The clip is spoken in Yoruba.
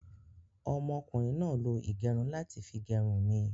Ọmọ kùnrin náà lo ìgẹrun láti fi gẹrun mi